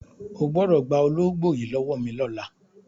O gbọ́dọ̀ gba ológbò yìí lọ́wọ́ mi lọ́la!